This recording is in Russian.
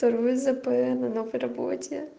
второй зп на новой работе